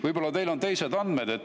Võib-olla on teil teised andmed.